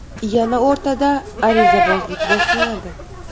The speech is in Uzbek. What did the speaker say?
Yana o‘rtada arizabozlik boshlanadi.